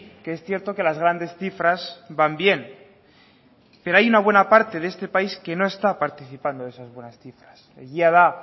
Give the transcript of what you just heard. que es cierto que las grandes cifras van bien pero hay una gran parte de este país que no está participando en esas buenas cifras egia da